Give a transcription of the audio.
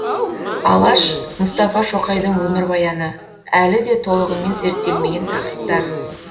алаш мұстафа шоқайдың өмірбаяны әлі де толығымен зерттелмеген тақырыптар